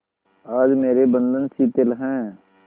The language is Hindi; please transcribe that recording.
आज मेरे बंधन शिथिल हैं